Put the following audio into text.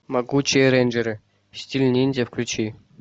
могучие рейнджеры стиль ниндзя включи